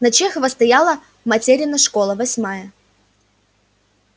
на чехова стояла материна школа восьмая